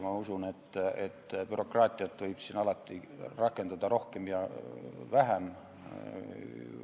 Ma usun, et bürokraatiat võib alati rakendada rohkem või vähem.